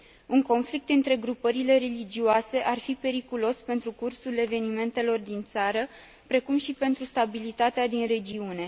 Un conflict între grupările religioase ar fi periculos pentru cursul evenimentelor din țară, precum și pentru stabilitatea din regiune.